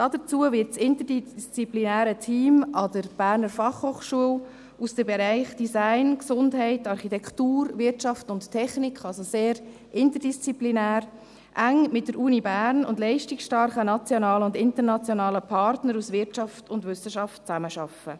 Dazu wird das interdisziplinäre Team der Berner Fachhochschule (BFH) aus den Bereichen Design, Gesundheit, Architektur, Wirtschaft und Technik, also sehr interdisziplinär, eng mit der Universität Bern und leistungsstarken nationalen und internationalen Partnern aus Wirtschaft und Wissenschaft zusammenarbeiten.